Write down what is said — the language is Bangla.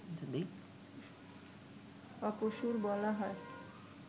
অপসূর বলা হয়